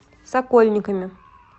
сокольниками